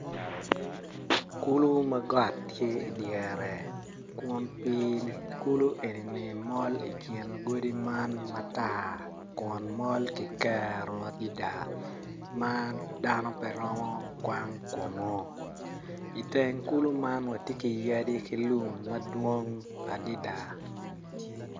Kulu ma got tye idyere kun pii-ni kulu eni mol ikin godi man matar kun mol kikero adida ma dano pe romo kwang kunu i teng kulu man watye ki yadi ki lum madwong adida